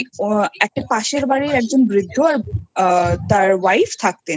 একজন পাশের বাড়ির একজন বৃদ্ধ আর তার Wife